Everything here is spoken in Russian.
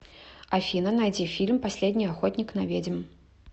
афина найди фильм последний охотник на ведьм